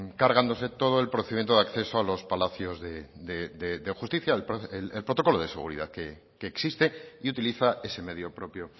cargándose todo el procedimiento de acceso a los palacios de justicia el protocolo de seguridad que existe y utiliza ese medio propio